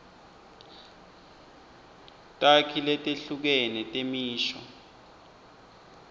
takhi letehlukene temisho